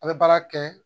A bɛ baara kɛ